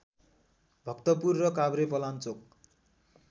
भक्तपुर र काभ्रेपलाञ्चोक